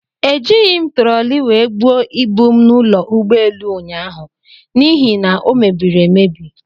Ejighi m trọli wee buo ibu m n'ụlọ ugboelu ụnyaahụ n'ihi na o mebiri emebi.